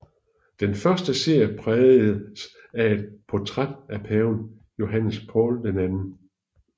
Den første serie prægedes af et portræt af paven Johannes Paul II